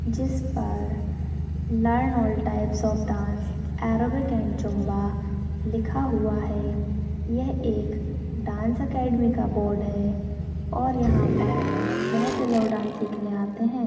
जिस पर learn all types of dance aerobics and zumba लिखा हुआ हैं यह एक डांस अकादमी का बोर्ड हैं और यहाँ पर बहोत से लोग डांस सीखने आते हैं।